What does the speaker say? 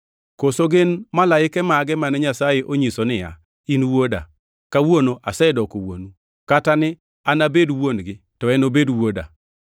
Koso gin malaike mage mane Nyasaye onyiso niya, “In Wuoda; kawuono asedoko Wuonu” + 1:5 \+xt Zab 2:7\+xt*? Kata ni, “Anabed Wuon-gi to enobed Wuoda” + 1:5 \+xt 2Sam 7:14; 1We 17:13\+xt*?